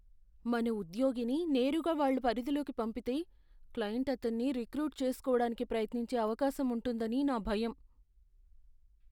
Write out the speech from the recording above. మన ఉద్యోగిని నేరుగా వాళ్ళ పరిధిలోకి పంపితే, క్లయింట్ అతన్ని రిక్రూట్ చేసుకోవడానికి ప్రయత్నించే అవకాశం ఉంటుందని నా భయం.